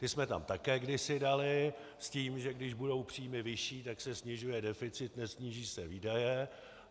Ty jsme tam také kdysi dali s tím, že když budou příjmy vyšší, tak se snižuje deficit, nesníží se výdaje.